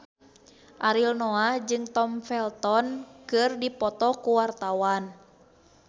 Ariel Noah jeung Tom Felton keur dipoto ku wartawan